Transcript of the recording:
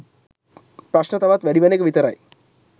ප්‍රශ්න තවත් වැඩිවන එක විතරයි